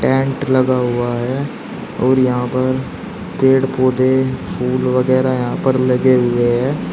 Tent लगा हुआ है और यहां पर पेड़ पौधे फूल वगैरा यहां पर लगे हुए हैं।